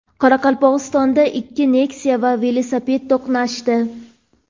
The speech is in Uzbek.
Qoraqalpog‘istonda ikki Nexia va velosiped to‘qnashdi.